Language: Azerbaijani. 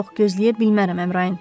Yox, gözləyə bilmərəm Əmrayın.